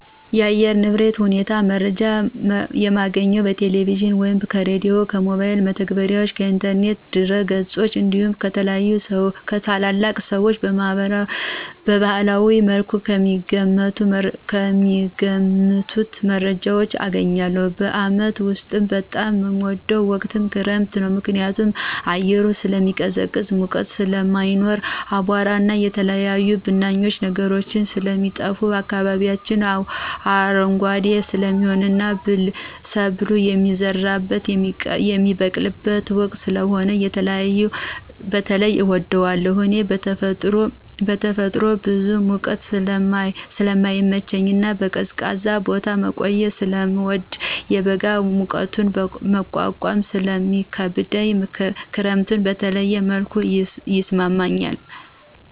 የአየር ንብረት ሁኔታ መረጃ የማገኘው ከቴሌቪዥን ወይም ከሬዲዮ፣ ከሞባይል መተግበሪያዎች፣ ከኢንተርኔት ድረገጾች እንዲሁም ከታላላቅ ሰዎች በባህላዊ መልኩ ከሚገምቱት መረጃ አገኛለሁ። በዓመት ውስጥ በጣም ምወደው ወቅት ክረምትን ነው። ምክንያቱም አየሩ ስለሚቀዘቅዝ ሙቀት ስለማይኖር፣ አቧራና የተለያዩ ብናኝ ነገሮች ስለሚጠፋ፣ አካባቢው አረንጓዴ ስለሚሆንና ሰብል የሚዘራበትና የሚበቅልበት ወቅት ስለሆነ በተለየ እወደዋለሁ። እኔ በተፈጥሮ ብዙ ሙቀት ስለማይመቸኝና በቀዝቃዛ ቦታ መቆየት ስለምወድና የበጋ ሙቀትን መቋቋም ስለሚከብደኝ ክረምት በተለየ መልኩ ይስማማኛል።